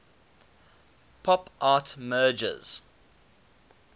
pop art merges